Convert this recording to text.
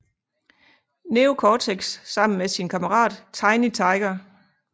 Neo Cortex sammen med sin kammerat Tiny Tiger